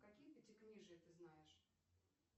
какие пятикнижие ты знаешь